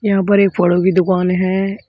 यहां पर एक फड़ो की दुकान है।